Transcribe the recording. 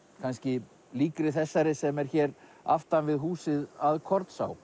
kannski líkri þessari sem er hér aftan við húsið að